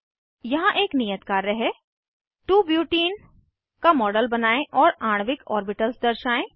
यहाँ एक नियत कार्य है 2 बुटेने का मॉडल बनायें और आणविक ऑर्बिटल्स दर्शाएं